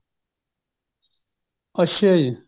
ਅੱਛਾ ਜੀ